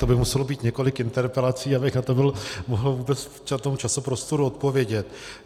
To by muselo být několik interpelací, abych na to mohl vůbec v tom časoprostoru odpovědět.